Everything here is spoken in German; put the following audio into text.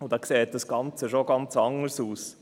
Dann sieht das Ganze schon ganz anders aus.